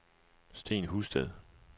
Steen Husted